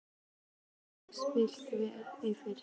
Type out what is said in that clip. Þú stendur þig vel, Leif!